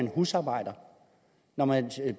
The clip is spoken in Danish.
husarbejdere når man